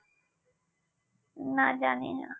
না জানি না